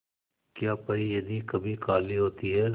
क्या परी यदि कभी काली होती है